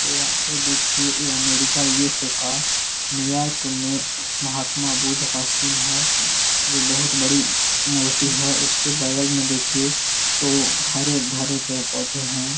तो या ये देखिए ये अमेरिका यू.एस.ए. का न्यूयोर्क में महात्मा बुद्ध का सिन है जो बहुत बड़ी मूर्ति है। उसके बगल में देखिए तो हरे-भरे पेड़-पौधे हैं।